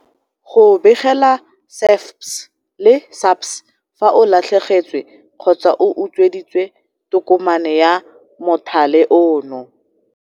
Go begela SAFPS le SAPS fa o latlhegetswe kgotsa o utsweditswe tokomane ya mothale ono